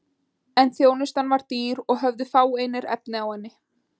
En þjónustan var dýr og höfðu fáir efni á henni.